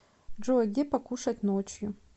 джой где покушать ночью